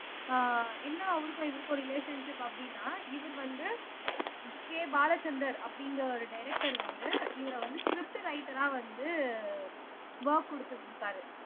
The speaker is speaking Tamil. ஆஹ் என்ன அவருக்கும் இவருக்கும் ஒரு ரிலேஷன்ஷிப் அப்படின்னா இவர் வந்து கே பாலச்சந்தர் அப்படிங்கிற ஒரு டைரக்டர் வந்து இவரை வந்து ஸ்ரிப்ட் ரைட்டரா வந்து வொர்க் கொடுத்து இருந்துருக்காரு